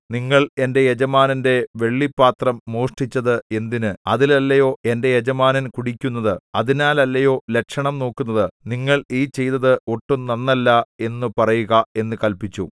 നിങ്ങൾ എന്റെ യജമാനന്റെ വെള്ളിപാത്രം മോഷ്ടിച്ചത് എന്തിന് അതിലല്ലയോ എന്റെ യജമാനൻ കുടിക്കുന്നത് അതിനാലല്ലയോ ലക്ഷണം നോക്കുന്നത് നിങ്ങൾ ഈ ചെയ്തത് ഒട്ടും നന്നല്ല എന്നു പറയുക എന്നു കല്പിച്ചു